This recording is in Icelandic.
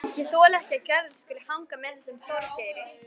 Ég þoli ekki að Gerður skuli hanga með þessum Þorgeiri.